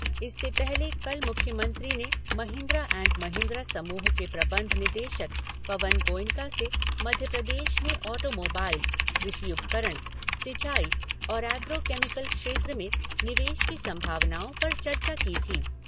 इससे पहले कल मुख्यमंत्री ने महिन्द्रा एण्ड महिन्द्रा समूह के प्रबंध निदेशक पवन गोयनका से मध्यप्रदेश में ऑटोमोबाईल, कृषि उपकरण, सिंचाई और एग्रो केमिकल क्षेत्र में निवेश की संभावनाओं पर चर्चा की थी।